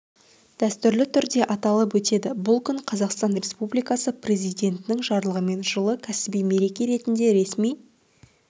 дәстүрлі түрде аталып өтеді бұл күн қазақстан республикасы президентінің жарлығымен жылы кәсіби мереке ретінде ресми